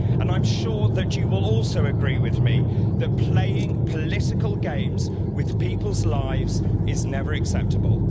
I'm sure that you will also agree with me that playing political games with people's lives is never acceptable.